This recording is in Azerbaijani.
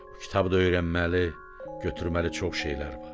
Bu kitabda öyrənməli, götürməli çox şeylər var.